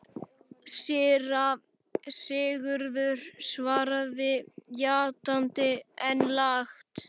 Síra Sigurður svaraði játandi, en lágt.